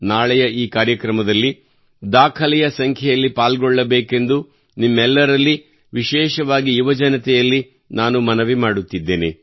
ನಾಳೆ ಈ ಕಾರ್ಯಕ್ರಮದಲ್ಲಿ ದಾಖಲೆಯ ಸಂಖ್ಯೆಯಲ್ಲಿ ಪಾಲ್ಗೊಳ್ಳಬೇಕೆಂದು ನಾನು ನಿಮ್ಮೆಲ್ಲರಲ್ಲಿ ವಿಶೇಷವಾಗಿ ಯುವಜನತೆಯಲ್ಲಿ ಮನವಿ ಮಾಡುತ್ತಿದ್ದೇನೆ